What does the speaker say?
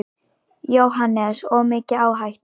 JÓHANNES: Of mikil áhætta.